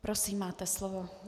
Prosím, máte slovo.